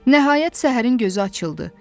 Nəhayət səhərin gözü açıldı.